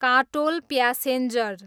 Katol passenger